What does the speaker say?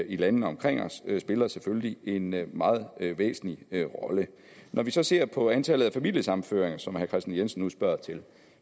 i landene omkring os spiller selvfølgelig en meget væsentlig rolle når vi så ser på antallet af familiesammenføringer som herre kristian jensen nu spørger til